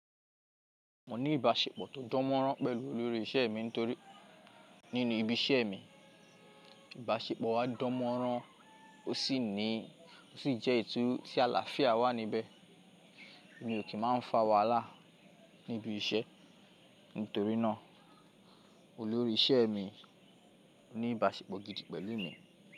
Mo ní ìbáṣepọ̀ tó dánmọ́nrán pẹ̀lú olórí isẹ́ mi nítorí nínú ibi isẹ mi, ìbáṣepọ̀ wa dánmọ́nrán ó sì ní ó sì jẹ́. Tí àlàáfíà wà níbẹ̀. Èmi ò kí máa ń fa wàhálà níbi isẹ́. Nítorí náà olórí isẹ́ mi ní ìbáṣepọ̀ gidi pẹ̀lú mi.